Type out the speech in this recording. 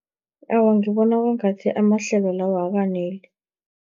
Awa, ngibona kwangathi amahlelo lawo akaneli.